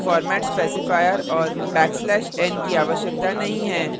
हमें यहाँ format specifier और \n की आवश्यकता नहीं है